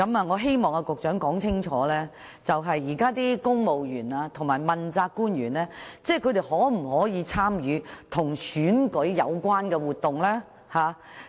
我希望局長說清楚，現時公務員和問責官員可否參與跟選舉有關的活動？